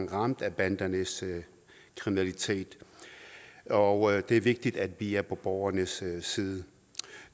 ramt af bandernes kriminalitet og det er vigtigt at vi er på borgernes side